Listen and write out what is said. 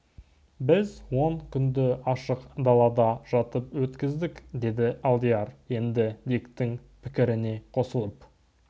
біз он күнді ашық далада жатып өткіздік деді алдияр енді диктің пікіріне қосылып